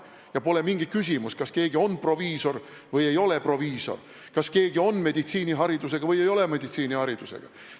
Ja pole mingi küsimus, kas keegi on proviisor või ei ole proviisor, kas keegi on meditsiiniharidusega või ei ole meditsiiniharidusega.